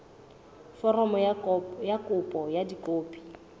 foromo ya kopo ka dikopi